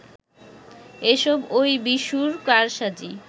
এসব ঐ বিশুর কারসাজি